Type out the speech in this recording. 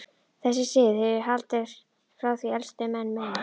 Þessi siður hefur haldist frá því elstu menn muna.